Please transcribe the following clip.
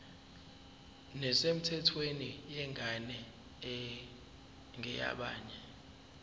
nesemthethweni yengane engeyabanye